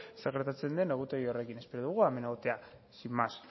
zer gertatzen den egutegi horrekin espero dugu hemen egotea sin más